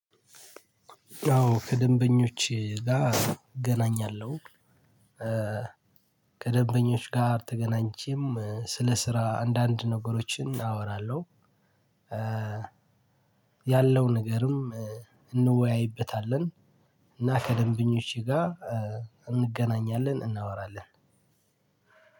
ያው ከደንበኞች ጋር እገናኛለሁ። ከደንበኞች ጋር ተገናኝቼም ስለ ስራ አንዳንድ ነገሮችን አወራለሁ። ያለው ነገርም እንወያይበታለን። እና ከደንበኞቼ ጋር እንገናኛለን። እናወራለን።